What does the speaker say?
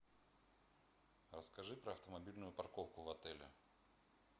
расскажи про автомобильную парковку в отеле